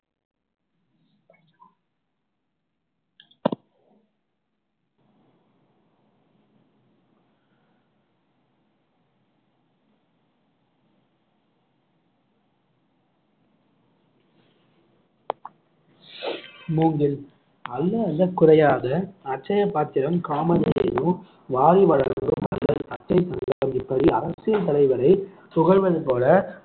மூங்கில் அள்ள அள்ள குறையாத அட்சய பாத்திரம் இப்படி அரசியல் தலைவரை புகழ்வது போல